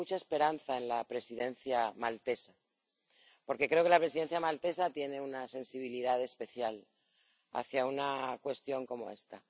Y tengo mucha esperanza en la Presidencia maltesa, porque creo que la Presidencia maltesa tiene una sensibilidad especial hacia una cuestión como esta.